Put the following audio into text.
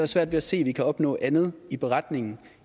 svært ved at se at vi kan opnå andet i beretningen